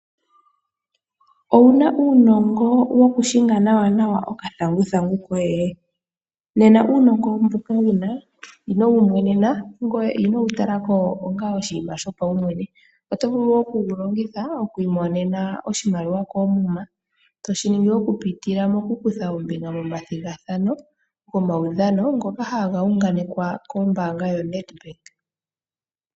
Owuna uunongo woku shinga nawa okathanguthangu koye? Nena uunongo mboka wuna ino wu mwenena, ngoye ino wu talako onga oshinima sho paumwene. Oto vulu oku wu longitha oku imonena oshimaliwa koomuma. Toshi ningi oku pitila moku kutha ombinga mo mathigathano go maudhano. Ngoka haga unganekwa kombaanaga yoNedbank.